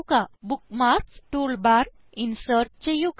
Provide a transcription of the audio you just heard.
ഒരു bookmarks toolbar insert ചെയ്യുക